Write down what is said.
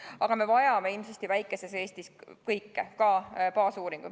Aga me vajame ilmsesti väikeses Eestis kõike, ka baasuuringud.